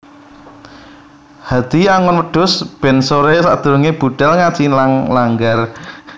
Hadi angon wedhus ben sore sakdurunge budhal ngaji nang langgar